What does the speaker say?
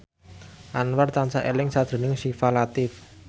Anwar tansah eling sakjroning Syifa Latief